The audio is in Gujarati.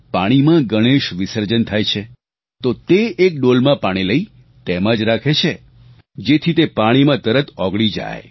અને પાણીમાં ગણેશ વિસર્જન થાય છે તો તે એક ડોલમાં પાણી લઇ તેમાં જ રાખે છે જેથી તે પાણીમાં તરત ઓગળી જાય